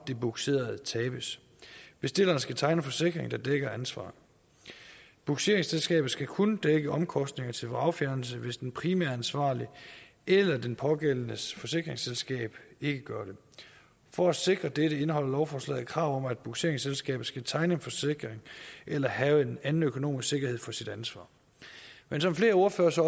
det bugserede tabes bestiller skal tegne en forsikring der dækker ansvaret bugseringsselskabet skal kun dække omkostninger til vragfjernelse hvis den primære ansvarlige eller den pågældendes forsikringsselskab ikke gør det for at sikre dette indeholder lovforslaget et krav om at bugseringsselskabet skal tegne en forsikring eller have en anden økonomisk sikkerhed for sit ansvar men som flere ordførere så